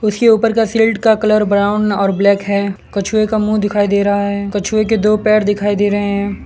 उसके ऊपर का शील्ड का कलर ब्राउन और ब्लैक है कछुए का मुंह दिखाई दे रहा है कछुए के दो पैर दिखाई दे रहे --